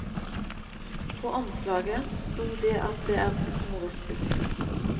På omslaget sto det at det er humoristisk.